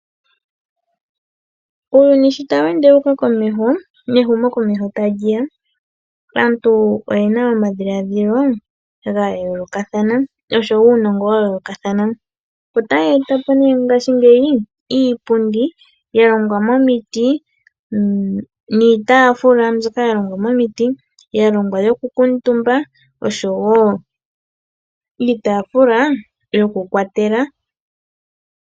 Uuyuni sho tawu ende wu uka komeho nehumokomeho tali ya, aantu oyena omadhiladhilo ga yoolokathana oshowo uunongo wa yoolokathana. Otaye e ta po nee ngaashingeyi iipundi ya longwa momiti niitaafula mbyoka ya longwa momiti, ya longwa yoku kuutumba oshowo iitaafula yoku kwatela.